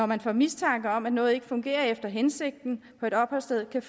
man får mistanke om at noget ikke fungerer efter hensigten på et opholdssted kan